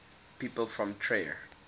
people from trier